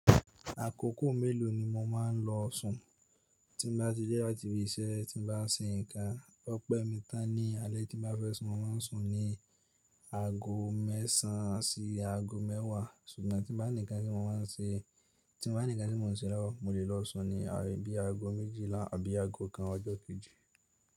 Àkókò mélòó ni mo máa ń lọ sùn? Tí mo bá ti dé láti ibi iṣẹ́, tí mo bá ń ṣe nǹkan, ọpẹ́ mi tán ní alẹ́ tí mo bá fẹ́ sun, mo máa ń sùn ní aago mẹ́sàn sí aago mẹ́wàá. Ṣùgbọ́n tí ń bá nikan tí mo máa ń ṣe, tí mo bá nǹkan tí mo ń ṣe lọ́wọ́, mo lè lọ sùn ní bíi aago méjìlá àbí aago kan ọjọ́ kejì.